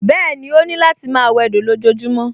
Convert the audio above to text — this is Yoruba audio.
Bẹ́ẹ̀ni, ó láti máa wẹdò lójojúmọ́